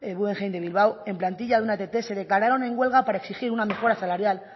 guggenheim de bilbao en plantilla de una ett se declararon en huelga para exigir una mejora salarial